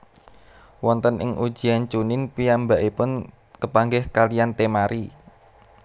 Wonten ing Ujian Chuunin piyambakipun kepanggih kaliyan Temari